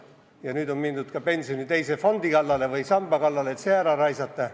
Ja nüüd on mindud ka pensioni teise samba kallale, et see raha ära raisata.